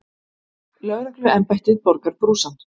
Lögregluembættið borgar brúsann.